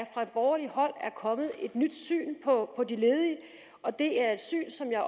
kommet et nyt syn på de ledige og det er et syn som jeg